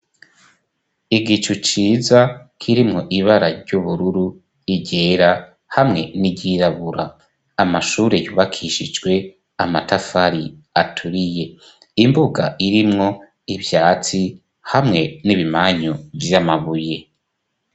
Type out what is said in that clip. Igicu ciza kirimwo ibara ry'ubururu igera hamwe n'iryirabura amashure yubakishijwe amatafari aturiye imbuga irimwo ivyatsi hamwe n'ibimanyo vy'amabuye.